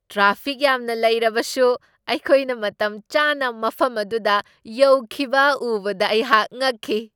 Traffic ꯌꯥꯝꯅ ꯂꯩꯔꯕꯁꯨ ꯑꯩꯈꯣꯏꯅ ꯃꯇꯝ ꯆꯥꯅ ꯃꯐꯝ ꯑꯗꯨꯗ ꯌꯧꯈꯤꯕ ꯎꯕꯗ ꯑꯩꯍꯥꯛ ꯉꯛꯈꯤ ꯫"